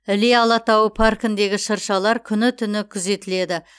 іле алатауы паркіндегі шыршалар күні түні күзетіледі